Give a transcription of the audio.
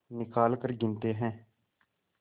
निकालकर गिनते हैं